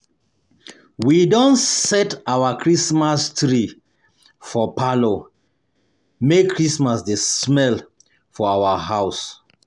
We don set our our Christmas tree for parlour make Christmas dey smell for our house.